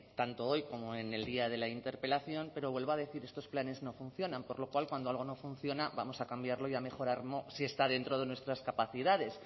tanto hoy como en el día de la interpelación pero vuelvo a decir estos planes no funcionan por lo cual cuando algo no funciona vamos a cambiarlo y a mejorarlo si está dentro de nuestras capacidades